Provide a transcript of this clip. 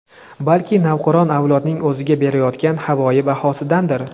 balki navqiron avlodning o‘ziga berayotgan havoyi bahosidandir.